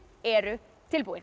eru tilbúin